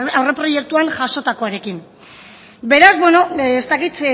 aurreproiektuan jasotakoarekin beraz beno ez dakit